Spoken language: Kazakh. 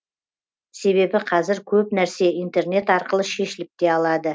себебі қазір көп нәрсе интернет арқылы шешіліп те алады